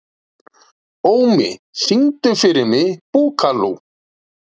Ómi, syngdu fyrir mig „Búkalú“.